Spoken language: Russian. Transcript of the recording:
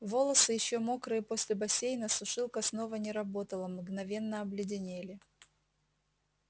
волосы ещё мокрые после бассейна сушилка снова не работала мгновенно обледенели